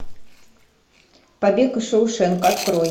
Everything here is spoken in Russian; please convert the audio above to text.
побег из шоушенка открой